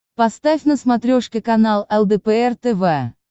поставь на смотрешке канал лдпр тв